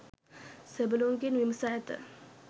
සෙබළුන්ගෙන් විමසා ඇත.